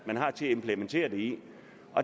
til at implementere det i